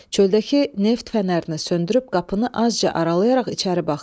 Çöldəki neft fənərini söndürüb qapını azca aralayaraq içəri baxdı.